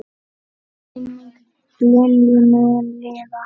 Minning Lilju mun lifa.